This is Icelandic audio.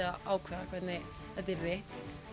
að ákveða hvernig þetta yrði